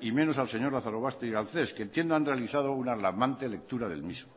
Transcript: y menos al señor lazarobaster y al ces que tienen realizado una alarmante lectura el mismo